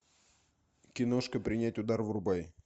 киношка принять удар врубай